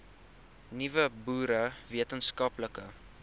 nuwe boere wetenskaplike